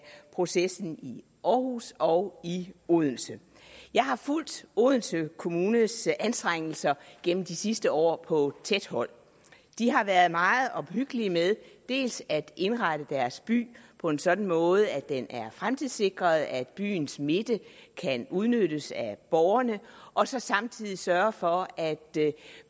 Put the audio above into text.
processen i aarhus og i odense jeg har fulgt odense kommunes anstrengelser gennem de sidste år på tæt hold de har været meget omhyggelige med dels at indrette deres by på en sådan måde at den er fremtidssikret at byens midte kan udnyttes af borgerne og så samtidig sørget for at